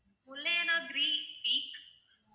peak